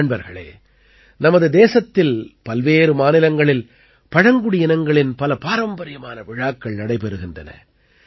நண்பர்களே நமது தேசத்தில் பல்வேறு மாநிலங்களில் பழங்குடியினங்களின் பல பாரம்பரியமான விழாக்கள் நடைபெறுகின்றன